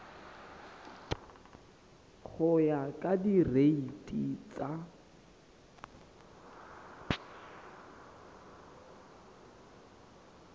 go ya ka direiti tsa